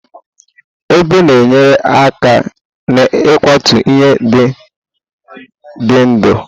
Ebe na-enyere aka n'ịkwatu ihe ndị dị ndụ.